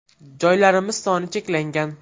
Joylarimiz soni cheklangan.